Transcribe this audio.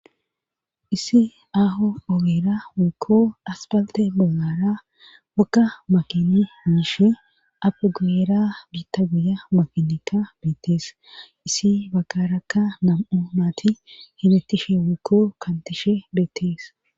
Issi aaho oweera wekko asbalte bolara wakka makini miishe api guyera biitta guya makinekka beettees isi bakarakka nam7o maati himettishe wekko kantishe beettees.